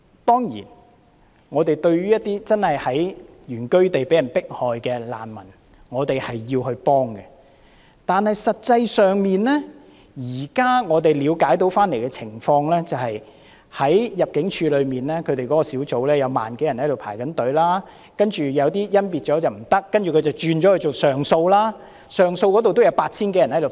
當然，對於一些真的在原居地被人迫害的難民，我們需要提供協助，但實際上，據我們現在了解的情況，就是在入境事務處內的小組有1萬多人輪候，然後有些經甄別後不符合資格，這些人於是提出上訴，上訴那邊也有 8,000 多人輪候。